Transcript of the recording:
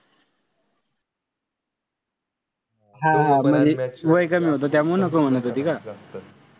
हा म्हणजे वय कमी होत म्हणून त्यामुळे नको म्हणत होती का?